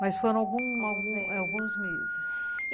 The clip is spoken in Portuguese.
Mas foram alguns alguns, alguns meses, é, alguns meses.